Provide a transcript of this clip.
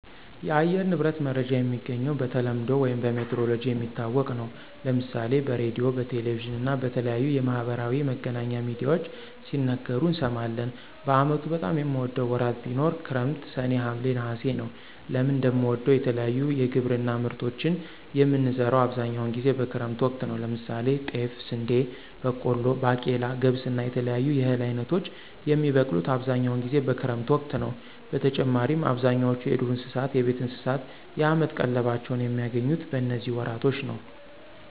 የአየር ንብረት መረጃ የሚገኘው በተለምዶ ውይም በሜትሮሎጅ የሚታወቅ ነው። ለምሳሌ በሬድዮ፣ በቴሌቪዥን እና በተለያዩ የማህበራዊ መገናኛ ሚድያዎች ሲነገሩ እንሰማለን። በአመቱ በጣም የምወደው ወራት ቢኖር ክረምት ሰኔ፣ ሀምሌ፣ ነሐሴ ነወ። ለምን እንደምወደው የተለያዩ የግብርና ምርቶችን የምንዘራው አብዛኛውን ጊዜ በክረምት ወቅት ነው። ለምሳሌ ጤፍ፣ ስንዴ፣ በቆሎ፣ ባቄላ፣ ገብስ እና የተለያዩ የእህል አይነቶች የሚበቅሉት አብዛኛውን ጊዜ በክረምት ወቅት ነዉ። በተጨማሪም አብዛኛው የዱር እንስሳት፣ የቤት እንስሳት የአመት ቀለባቸውን የሚያገኙት በነዚህ ወራቶች ነው።